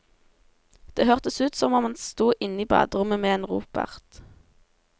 Det hørtes ut som han sto inne i baderommet med en ropert.